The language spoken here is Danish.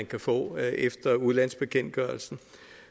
kan få efter udlandsbekendtgørelsen